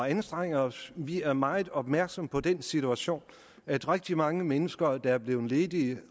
anstrenge os vi er meget opmærksomme på den situation at rigtig mange mennesker der er blevet ledige